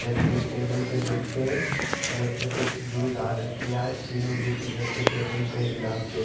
इधर पे ये टेबल पे बैठके इधर पे कुछ जूस आर्डर किया है तीनों जूस इधर पे टेबल पे गिलास पे--